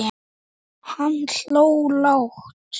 Hann hló lágt.